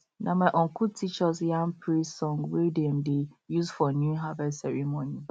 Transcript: na my uncle teach us yam praise song wey dem dey use for new harvest ceremony